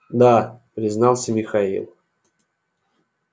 да признался михаил